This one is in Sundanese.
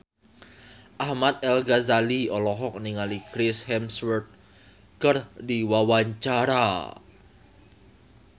Ahmad Al-Ghazali olohok ningali Chris Hemsworth keur diwawancara